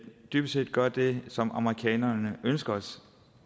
dybest set gør det som amerikanerne ønsker